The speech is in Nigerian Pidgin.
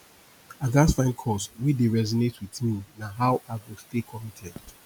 i gats find cause wey dey resonate with me na how i go stay committed